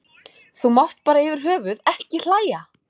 Þú mátt bara yfir höfuð ekki hlæja.